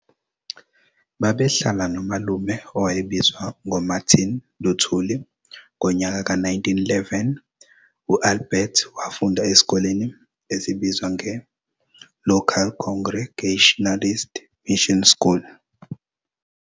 Babehlala no malume owayebizwa ngo Marthin Luthuli ngonyaka ka-1911. u-Albert wafunda esikoleni esibizwa nge-Local Congregationalist Mission School.